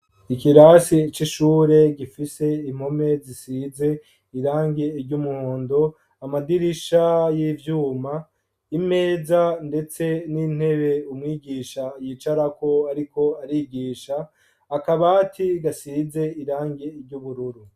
Ikirase c'ishure gifise impome zisize irangi ry'umuhondo , amadirisha y'ivyuma , imeza ndetse n'intebe umwigisha yicarako ariko arigisha, akabati gasize irangi ry'ubururu.